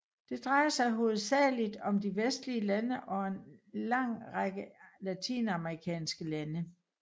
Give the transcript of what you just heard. Det drejer sig hovedsageligt om de vestlige lande samt en lang række latinamerikanske lande